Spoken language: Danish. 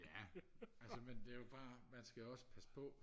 ja altså men det er jo bare man skal jo også passe på